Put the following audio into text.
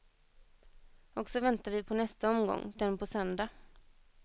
Och så väntar vi på nästa omgång, den på söndag.